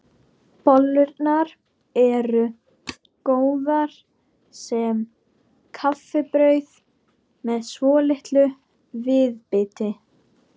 Bollurnar eru góðar sem kaffibrauð með svolitlu viðbiti.